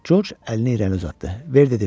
George əlini irəni uzatdı.